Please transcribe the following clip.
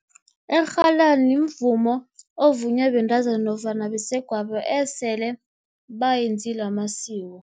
Irhalani mvumo ovunywa bentazana, nofana basegwabo esele bayenzile amasiko.